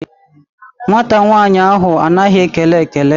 Nwata nwaanyị ahụ anaghị ekele ekele.